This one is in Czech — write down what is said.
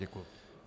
Děkuji.